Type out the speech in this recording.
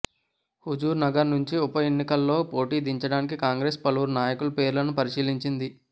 హుజూర్ నగర్ నుంచి ఉప ఎన్నికలో పోటీకి దించడానికి కాంగ్రెసు పలువురు నాయకుల పేర్లను పరిశీలించింది